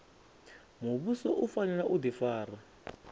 muvhuso u fanela u difara